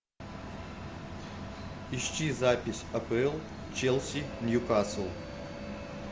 ищи запись апл челси ньюкасл